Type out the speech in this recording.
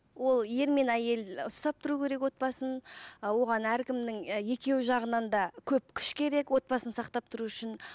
ол ер мен әйел ұстап тұру керек отбасын і оған әркімнің і екеуі жағынан да көп күш керек отбасын сақтап тұру үшін